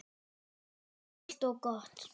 Einfalt og gott.